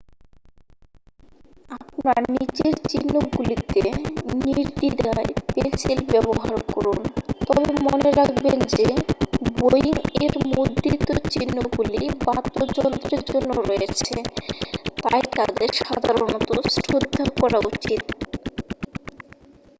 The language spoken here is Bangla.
আপনার নিজের চিহ্নগুলিতে নির্দ্বিধায় পেনসিল ব্যবহার করুন তবে মনে রাখবেন যে বোয়িং এর মুদ্রিত চিহ্নগুলি বাদ্যযন্ত্রের জন্য রয়েছে তাই তাদের সাধারণত শ্রদ্ধা করা উচিত